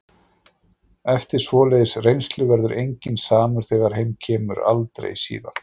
Eftir svoleiðis reynslu verður enginn samur þegar heim kemur- aldrei síðan.